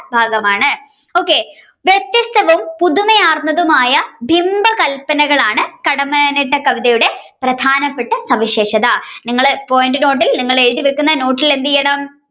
ഭാഗമാണ് okay വ്യത്യസ്തവും പുതുമയാർന്നതുമായ ബിംബകല്പനകളാണ് കടമ്മനിട്ട കവിതയുടെ പ്രധാനപ്പെട്ട സവിശേഷത നിങ്ങൾ point നോട്ടിൽ എഴുതിവെക്കുന്ന നോട്ടിൽ എന്ത്ചെയ്യണം.